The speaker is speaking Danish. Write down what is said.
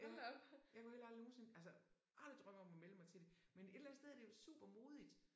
Ja jeg kunne heller aldrig nogensinde altså aldrig drømme om at melde mig til det. Men et eller andet sted er det jo supermodigt